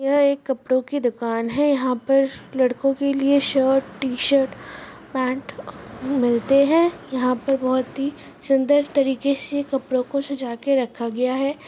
एक कपड़े की दुकान है यहा पर लड़कों के लिए शर्ट टी शर्ट पैंट मिलते है यहा पर बहुत ही सुंदर तरीके से कपड़ों को सजा कर रखा गया है।